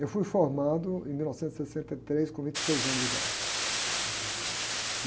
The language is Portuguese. Eu fui formado em mil novecentos e sessenta e três com vinte e seis anos de idade.